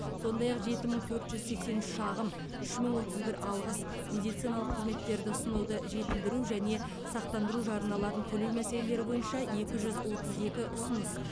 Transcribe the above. сондай ақ жеті мың төрт жүз сексен үш шағым үш мың отыз бір алғыс медициналық қызметтерді ұсынуды жетілдіру және сақтандыру жарналарын төлеу мәселелері бойынша екі жүз отыз екі ұсыныс